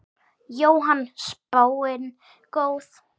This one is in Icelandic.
Jóhann: Spáin góð?